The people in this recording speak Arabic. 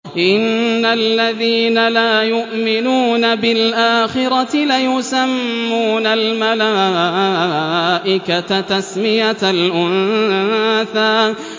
إِنَّ الَّذِينَ لَا يُؤْمِنُونَ بِالْآخِرَةِ لَيُسَمُّونَ الْمَلَائِكَةَ تَسْمِيَةَ الْأُنثَىٰ